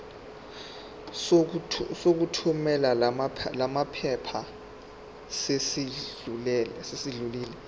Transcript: sokuthumela lamaphepha sesidlulile